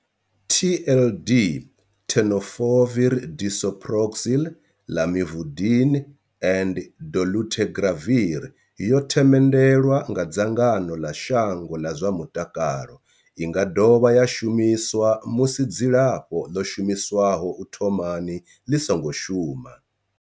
TLD Tenofovir disoproxil, Lamivudine and dolutegravir yo themendelwa nga dzangano ḽa shango ḽa zwa mutakalo. I nga dovha ya shumiswa musi dzilafho ḽo shumiswaho u thomani ḽi songo shuma.